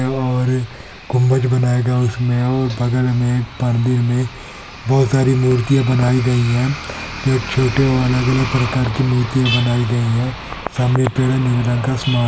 और गुम्बज बनउया गया हिअ उसमे और बल में नमंडी र में बहुत सारी मुर्तिया बनाई गईहै कुछ कव्होटे और अलग अलग बनाया गीता हिअ--